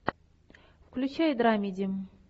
включай драмеди